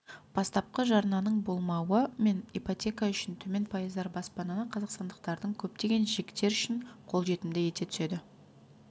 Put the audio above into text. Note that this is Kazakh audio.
бастапқы жарнаның болмауы мен ипотека үшін төмен пайыздар баспананы қазақстандықтардың көптеген жіктері үшін қолжетімді ете түседі